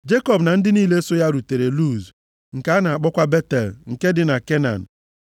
Jekọb na ndị niile so ya rutere Luz, nke a na-akpọkwa Betel nke dị na Kenan.